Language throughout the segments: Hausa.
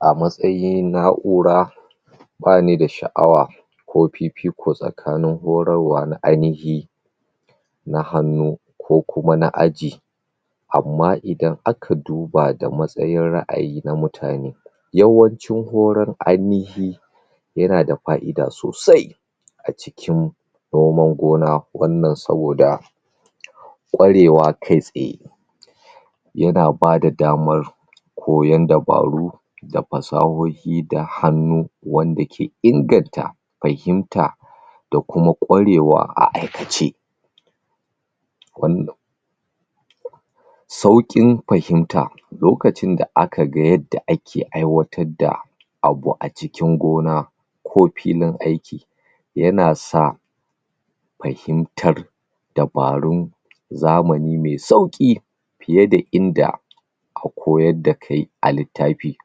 A matsayin na'ura ba ni da sha'awa ko fifiko tsakanin horarwa na ainihi na hannu ko kuma na aji Amma idan aka duba da matsayin ra'ayi na mutane yawanci horar ainihi yana da fa'ida sosai a cikin noman gona. Wannan saboda ƙwarewa kai-tsaye yana ba da damar koyon dabaru da fasahohi da hannu wanda ke inganta fahimta da kuma ƙwarewa a aikace. sauƙin fahimta lokacin da aka ga yadda ake aiwatar da abu a cikin gona ko filin aiki yana sa fahimtar dabarun zamani mai sauƙi fiye da inda aka koyar da kai a littafi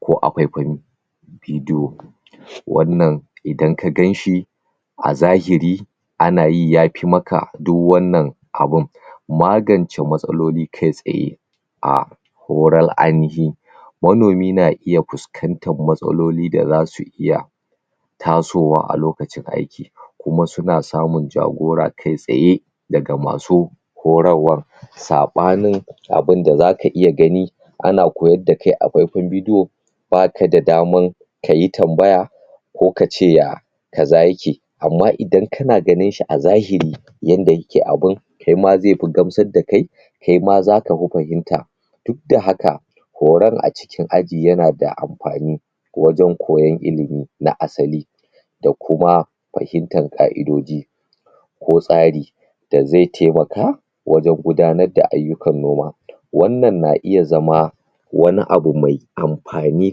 ko a faifayin bidiyo Wannan idan ka gan shi a zahiri ana yi ya fi maka duk wannan abin Magance matsaloli kai-tsaye a horon ainihi Manomi na iya fuskantar matsaloli da za su iya tasowa a lokacin aiki kuma suna samun jagora kai-tsaye daga masu horarwar, saɓanin abin da za ka iya gani ana koyar da kai a faifayin bidiyo ba ka da daman ka yi tambaya ko ka ce ya kaza yake amma idan kana ganin shi a zahiri yadda yake abin kai ma zai fi gamsar da kai, kai ma za ka fi fahimta, duk da haka horon a cikin aji yana da amfani wajen koyon ilimi na asali da kuma fahimtar ka'idoji ko tsari da zai taimaka wajen gudanar da ayyukan noma. Wannan na iya zama wani abu mai amfani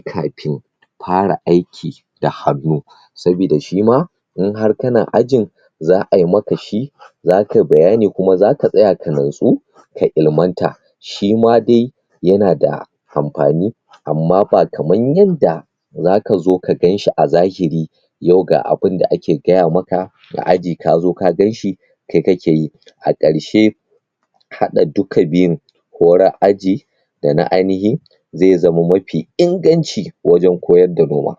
kafin fara aiki da hannu saboda shi ma in har kana ajin za a yi maka shi za ka yi bayani kuma za ka tsaya ka natsu ka ilimanta. Shi ma dai yana da amfani amma ba kamar yanda Za ka zo ka gan shi a zahiri yau ga abin da ake gaya maka a aji ka zo ka gan shi kai kake yi. A ƙarshe, haɗa duka biyun: horar aji da na ainihi, zai zamo mafi inganci wajen koyar da noma.